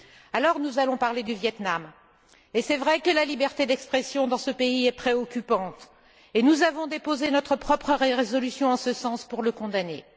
Alors nous allons parler du Viêt Nam. Et c'est vrai que la situation de la liberté d'expression dans ce pays est préoccupante, et nous avons déposé notre propre résolution en ce sens pour le condamner.